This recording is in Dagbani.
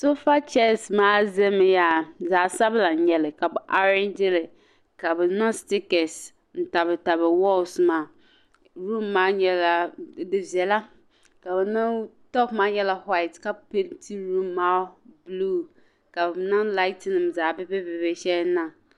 "Sofa chairs" maa zami yaa zaɣ'sabila n-nyɛ ka be "arrange"gi li ka be niŋ "stikers" n-niŋ tabili tabili walls maa room maa nyɛla di viɛla ka be niŋ top maa nyɛla white ka peenti room maa buluu ka be niŋ laatinima zaɣ'bi'bihi bi'bihi sheli niŋ.